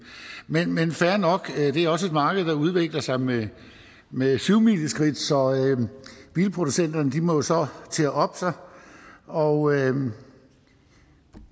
men men fair nok det er også et marked der udvikler sig med med syvmileskridt så bilproducenterne må jo så til at oppe sig og